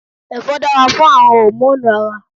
Èfó dára fún àwon hòmónù Ara